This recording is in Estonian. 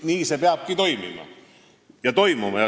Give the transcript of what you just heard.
Nii see peabki toimuma.